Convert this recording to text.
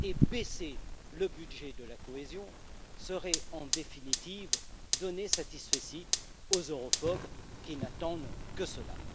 Baisser le budget de la cohésion serait donc en définitive donner un satisfecit aux europhobes, qui n'attendent que cela.